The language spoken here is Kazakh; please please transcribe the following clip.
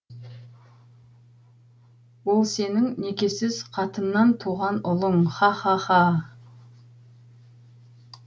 ол сенің некесіз қатыннан туған ұлың ха ха ха